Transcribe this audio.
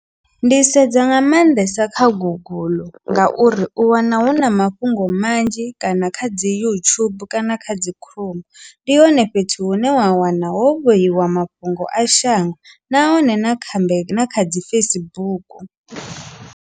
Ndi sedza nga maanḓesa kha guguḽu ngauri u wana huna mafhungo manzhi kana kha dzi youtube kana kha dzi chrome ndi hone fhethu hune wa wana ho vheyiwa mafhungo a shango nahone na kuambe na kha dzi Facebook.